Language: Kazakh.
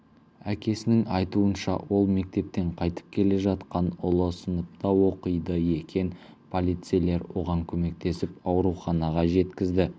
әкесінің айтуынша ол мектептен қайтып келе жатқан ұлы сыныпта оқиды екен полицейлер оған көмектесіп ауруханаға жеткізді